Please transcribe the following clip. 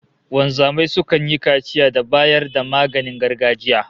Wanzamai sukan yi kaciya da bayar da maganin gargajiya